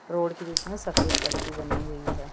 Road के बीच में सफेद पट्टी बनी हुई है।